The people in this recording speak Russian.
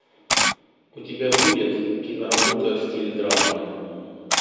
у тебя будет киноработа в стиле драммы